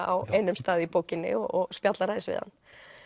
á einum stað í bókinni og spjallar aðeins við hann